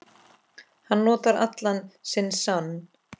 Hann notar allan sinn sann